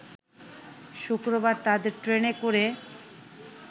শুক্রবার তাদের ট্রেনে করে